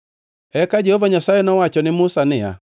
Eka Jehova Nyasaye nowacho ne Musa niya,